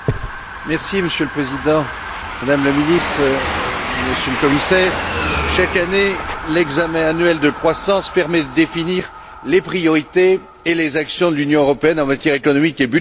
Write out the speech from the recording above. Monsieur le Président, Madame la Ministre, Monsieur le Commissaire, chaque année, l'examen annuel de croissance permet de définir les priorités et les actions des l'Union européenne en matière économique et budgétaire.